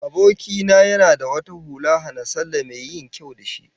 Aboki na yana da wata hula hana-sallah mai yin kyau da shi